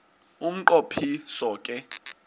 umnqo phiso ke